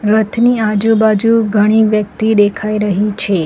રથની આજુબાજુ ઘણી વ્યક્તિ દેખાઈ રહી છે.